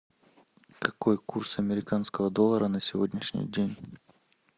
какой курс американского доллара на сегодняшний день